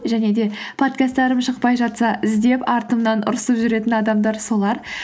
және де подкасттарым шықпай жатса іздеп артымнан ұрысып жүретін адамдар солар